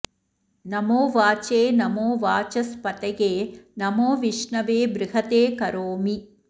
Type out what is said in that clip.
नमो वाचे नमो वाचस्पतये नमो विष्णवे बृहते करोमि